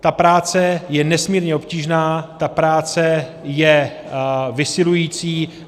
Ta práce je nesmírně obtížná, ta práce je vysilující.